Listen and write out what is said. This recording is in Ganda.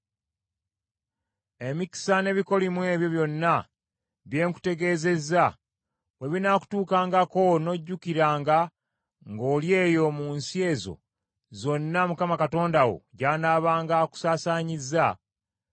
Emikisa n’ebikolimo ebyo byonna bye nkutegeezezza, bwe binaakutuukangako n’ojjukiranga ng’oli eyo mu nsi ezo zonna Mukama Katonda wo gy’anaabanga akusaasaanyizza,